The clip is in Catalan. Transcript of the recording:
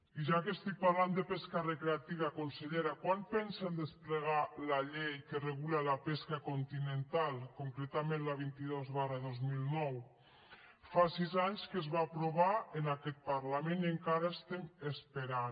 i ja que estic parlant de pesca recreativa consellera quan pensen desplegar la llei que regula la pesca continental concretament la vint dos dos mil nou fa sis anys que es va aprovar en aquest parlament i encara estem esperant